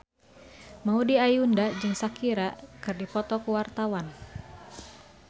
Maudy Ayunda jeung Shakira keur dipoto ku wartawan